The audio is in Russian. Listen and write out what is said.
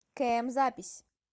км запись